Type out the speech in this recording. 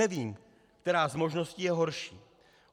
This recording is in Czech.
Nevím, která z možností je horší.